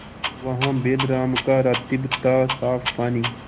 वहाँ बैलराम का रातिब थासाफ पानी